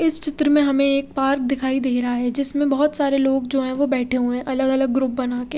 इस चित्र में हमें एक पार्क दिखाई दे रहा है जिसमें बहोत सारे लोग जो हैं वो बैठे हुए हैं अलग अलग ग्रुप बनाके--